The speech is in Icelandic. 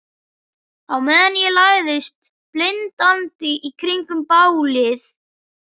Á meðan ég læðist blindandi í kringum bálið.